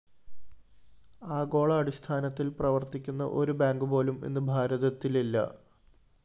ആഗോള അടിസ്ഥാനത്തില്‍ പ്രവര്‍ത്തിക്കുന്ന ഒരു ബാങ്കുപോലും ഇന്ന് ഭാരതത്തിലില്ല